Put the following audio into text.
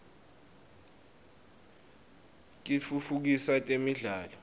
kitfutfukisa temidlalo